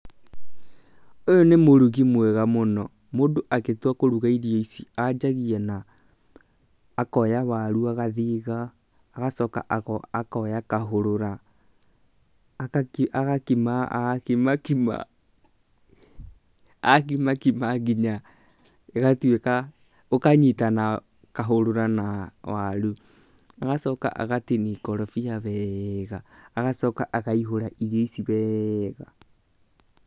Ũyũ nĩ mũrugi mwega mũno. Mũndũ agĩtua kũruga irio ici anjagia na; akoya waru agathiga, agacoka akoya kahũrũra agakimakima nginya ĩgatũĩka, ũkanyitana kahũrũra na waru, agacoka agatinia ikorobia wega, agacoka akaihũra irio icio wega.